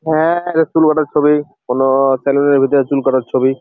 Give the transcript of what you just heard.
হ্যাঁঁ এটা চুল কাটার ছবি কোন সেলুন -এর ভিতরে চুল কাটার ছবি ।